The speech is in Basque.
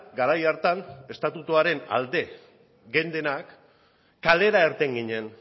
garai hartan estatutuaren alde geundenak kalera irten ginen